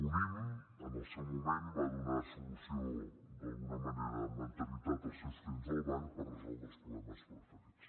unnim en el seu moment va donar solució d’alguna manera amb anterioritat als seus clients del banc per resoldre els problemes preferents